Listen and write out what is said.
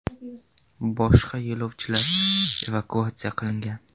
Boshqa yo‘lovchilar evakuatsiya qilingan.